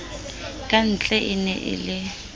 kantle e ne e le